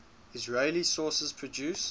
israeli sources produce